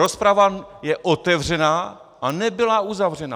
Rozprava je otevřena a nebyla uzavřena.